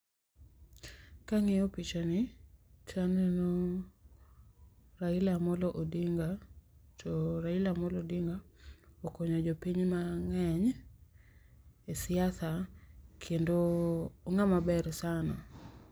Kangiyo pichani taneno Raila Amollo Odinga to Raila Amollo Odinga okonyo jopiny mangeny e siasa kendo o ng'ama ber sana